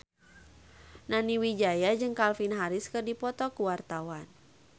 Nani Wijaya jeung Calvin Harris keur dipoto ku wartawan